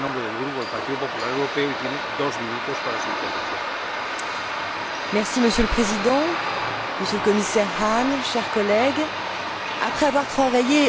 Monsieur le Président, Monsieur le Commissaire Hahn, chers collègues, après avoir travaillé durant des mois de façon collégiale et constructive avec le rapporteur, M.